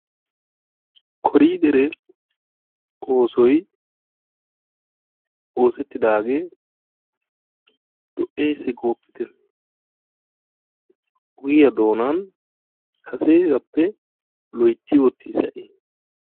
Koriidderee oosoy oosettidaagee lo'ees gooppitte! Ogiya doonan kasegaappe loytti oottiis ha'i.